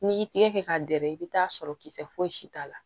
N'i y'i tɛgɛ kɛ k'a dɛrɛ i bɛ t'a sɔrɔ kisɛ fosi t'a la